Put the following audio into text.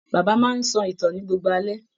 Bàbá máa n sọ ìtàn ní gbogbo alẹ́.